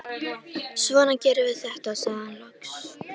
Svona gerum við þetta, sagði hann loks.